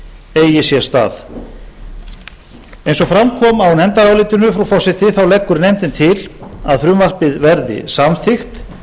eigi sér stað eins og fram kom á nefndarálitinu frú forseti þá leggur nefndin til að frumvarpið verði samþykkt